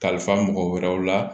Kalifa mɔgɔ wɛrɛw la